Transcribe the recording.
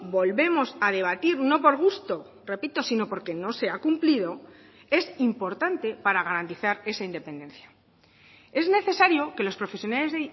volvemos a debatir no por gusto repito sino porque no se ha cumplido es importante para garantizar esa independencia es necesario que los profesionales